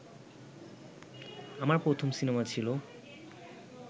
আমার প্রথম সিনেমা ছিল